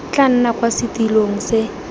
tla nna kwa setilong se